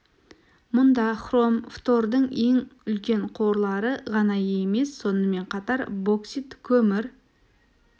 мұнда хром фтордың ең үлкен қорлары ғана емес сонымен қатар боксит көмір